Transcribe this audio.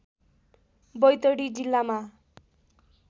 बैतडी जिल्लामा